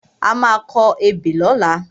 A má a kọ ebè lọ́la.